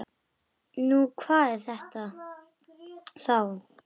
Nú, hvað er þetta þá?